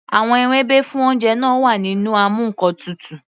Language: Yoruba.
Àwọn ewébẹ̀ fún oúnjẹ náà wà nínú amú ǹkan tutù.